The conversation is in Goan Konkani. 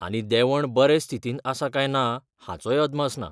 आनी देंवण बरे स्थितींत आसा काय ना हाचोय अदमास ना.